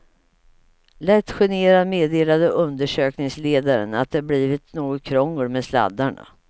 Lätt generad meddelade undersökningsledaren att det blivit något krångel med sladdarna.